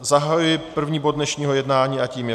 Zahajuji první bod dnešního jednání a tím je